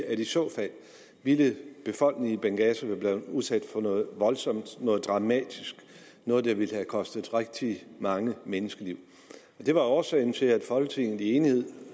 at i så fald ville befolkningen i benghazi være blevet udsat for noget voldsomt noget dramatisk noget der ville have kostet rigtig mange menneskeliv det var årsagen til at folketinget i enighed